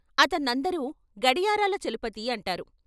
అత న్నందరూ గడియారాల చలపతి అంటారు.